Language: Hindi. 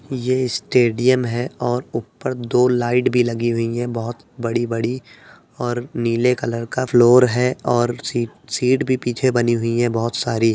ये स्टेडियम है और ऊपर दो लाईट भी लगी हुई हैं बहोत बड़ी-बड़ी और नीले कलर का फ्लोर है और सिट सिट भी पीछे बनी हुई हैं बहोत सारी।